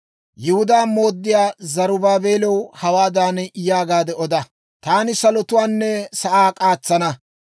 «Yihudaa mooddiyaa Zarubaabeelaw hawaadan yaagaade oda; ‹Taani salotuwaanne sa'aa k'aatsana;